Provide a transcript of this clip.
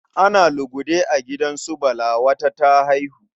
Ana lugude a gidan su Bala, wata ta haihu.